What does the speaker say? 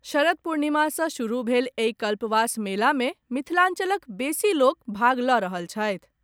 शरद पूर्णिमा सॅ शुरू भेल एहि कल्पवास मेला मे मिथिलांचलक बेसी लोक भाग लऽ रहल छथि।